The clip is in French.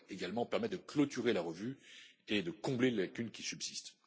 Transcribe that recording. Cela devrait également permettre de clôturer la revue et de combler les lacunes qui subsistent.